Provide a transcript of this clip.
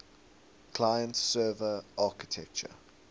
client server architecture